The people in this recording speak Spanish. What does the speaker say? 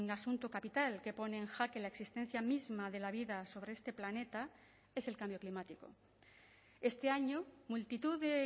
asunto capital que pone en jaque la existencia misma de la vida sobre este planeta es el cambio climático este año multitud de